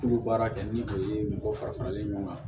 K'u bɛ baara kɛ ni o ye mɔgɔ fara faralen ɲɔgɔn kan